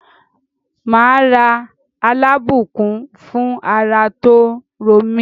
Màá ra Alábùkún fún ara tó ń ro mí.